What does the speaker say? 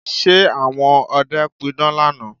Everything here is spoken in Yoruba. Ṣe àwọn ọdẹ pidán lánàá?